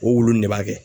O wuluw de b'a kɛ